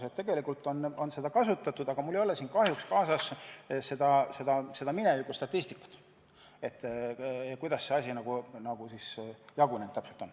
Nii et tegelikult on seda kasutatud, aga mul ei ole siin kahjuks kaasas varasemat statistikat selle kohta, kuidas see asi täpselt jagunenud on.